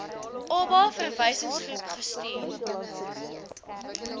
oba verwysingsgroep gestuur